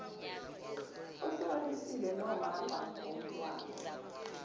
ohlukanisile nomama womntwana